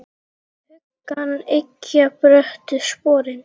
Hugann eggja bröttu sporin.